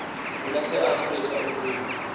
kwelase afrika ilwimi